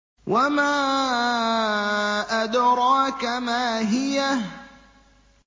وَمَا أَدْرَاكَ مَا هِيَهْ